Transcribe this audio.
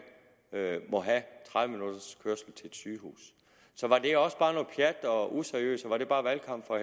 må have tredive minutters kørsel til et sygehus så var det også bare noget pjat og useriøst og var det bare valgkamp fra